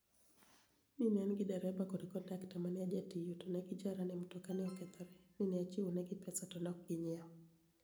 ni e ani gi dereba kod konidakta ma ni e ajatiyo to ni e gijara nii mtoka ni e okethore, ni e achiwoni egi pesa to ni e ok giniyiewo.